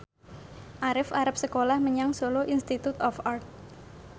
Arif arep sekolah menyang Solo Institute of Art